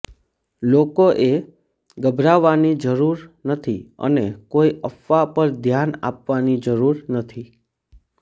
લોકોએ ગભરાવવાની જરૂર નથી અને કોઇ અફવા પર ધ્યાન આપવાની જરૂર નથી